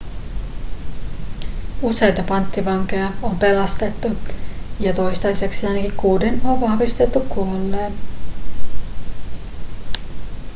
useita panttivankeja on pelastettu ja toistaiseksi ainakin kuuden on vahvistettu kuolleen